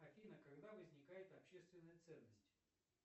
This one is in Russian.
афина когда возникает общественная ценность